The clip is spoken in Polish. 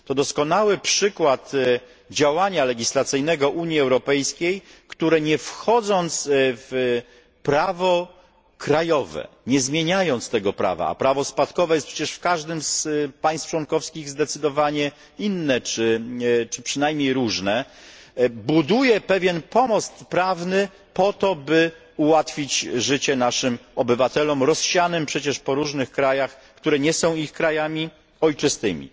To doskonały przykład działania legislacyjnego Unii Europejskiej, które nie wchodząc w prawo krajowe, nie zmieniając tego prawa a prawo spadkowe jest przecież w każdym z państw członkowskich zdecydowanie inne czy przynajmniej różne buduje pewien pomost prawny po to, by ułatwić życie naszym obywatelom rozsianym przecież po różnych krajach, które nie są ich krajami ojczystymi.